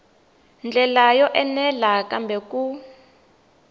ndlela yo enela kambe ku